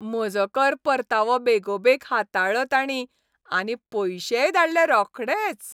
म्हजो कर परतावो बेगोबेग हाताळ्ळो ताणीं आनी पयशेय धाडले रोखडेच.